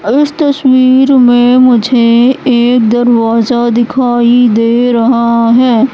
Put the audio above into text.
इस तस्वीर में मुझे एक दरवाजा दिखाई दे रहा है।